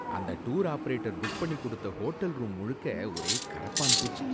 அந்த tour operator book பண்ணி கொடுத்த ஹோட்டல் ரூம் முழுக்க ஒரே கரப்பான்பூச்சி